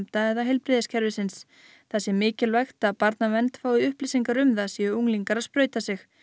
eða heilbrigðiskerfisins það sé mikilvægt að barnaverndarnefndir fái upplýsingar um það séu unglingar að sprauta sig